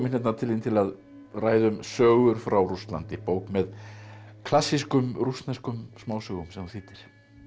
til þín til að ræða um sögur frá Rússlandi bók með klassískum rússneskum smásögum sem þú þýddir